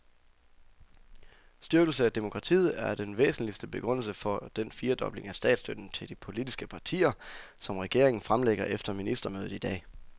Styrkelse af demokratiet er den væsentligste begrundelse for den firedobling af statsstøtten til de politiske partier, som regeringen fremlægger efter ministermødet i dag.